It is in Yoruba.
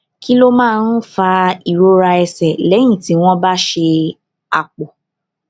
kí ló máa ń fa ìrora ẹsè léyìn tí wón bá ṣe àpò